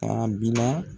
Abi na